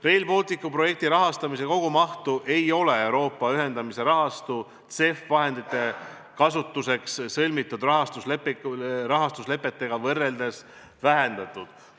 Rail Balticu projekti rahastamise kogumahtu ei ole Euroopa ühendamise rahastu vahendite kasutamiseks sõlmitud rahastuslepetega võrreldes vähendatud.